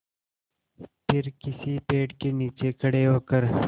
फिर किसी पेड़ के नीचे खड़े होकर